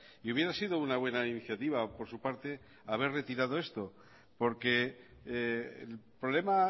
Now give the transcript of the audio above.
y hubiera sido una buena iniciativa por su parte haber retirado esto porque el problema